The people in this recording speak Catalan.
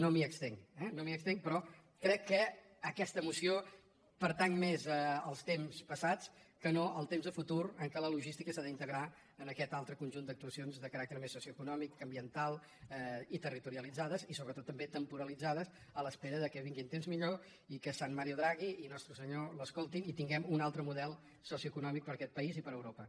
no m’hi estenc eh no m’hi estenc però crec que aquesta moció pertany més als temps passats que no al temps de futur en què la logística s’ha d’integrar en aquest altre conjunt d’actuacions de caràcter més socioeconòmic ambiental i territorialitzades i sobretot també temporalitzades en espera que vinguin temps millors i que sant mario draghi i nostre senyor l’escoltin i tinguem un altre model socioeconòmic per a aquest país i per a europa